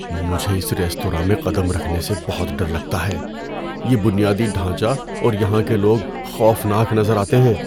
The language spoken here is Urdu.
مجھے اس ریستوراں میں قدم رکھنے سے بہت ڈر لگتا ہے۔ یہ بنیادی ڈھانچہ اور یہاں کے لوگ خوفناک نظر آتے ہیں۔